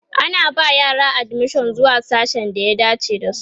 ana ba yara admission zuwa sasshen da ya dace da su